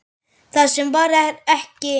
Það sem var er ekki.